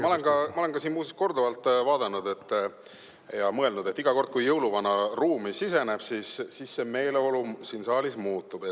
Ma olen muuseas korduvalt vaadanud ja mõelnud, et iga kord, kui jõuluvana ruumi siseneb, siis meeleolu siin saalis muutub.